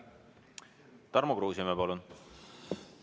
Tarmo Kruusimäe, palun!